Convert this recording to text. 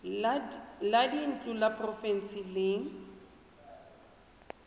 la dintlo la porofense le